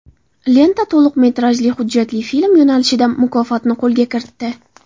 Lenta to‘liq metrajli hujjatli film yo‘nalishida mukofotni qo‘lga kiritdi.